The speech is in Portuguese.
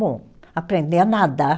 Bom, aprender a nadar.